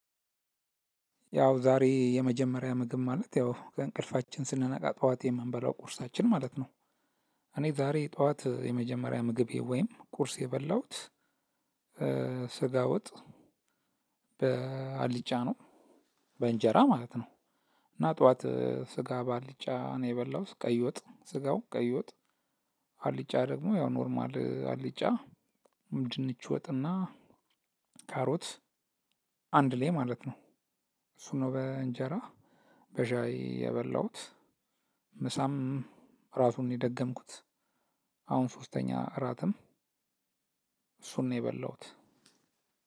ያው ዛሬ የመጀመሪያ ምግብ ማለት ያው ከእንቅልፋችን ስንነቃ ጠዋት የምንበላው ቁርሳችን ማለት ነው። እኔ ዛሬ ጠዋት የመጀመሪያ ምግቤ ወይም ቁርስ የበላሁት። ስጋ ወጥ በአልጫ ነው። በእንጀራ ማለት ነው። እና ጠዋት ስጋ በአልጫ ነው የበላው ቀይ ወጥ ስጋው ቀይ ወጥ። አልጫ ደግሞ ያው ኖርማል አልጫ በድንቺ ወጥና ካሮት አንድ ላይ ማለት ነው። እሱ ነው በእንጀራ በሻይ የበላሁት። ምሳም ራሱን የደገምኩት። አሁን ሶስተኛ እራትም እሱን ነው የበላሁት።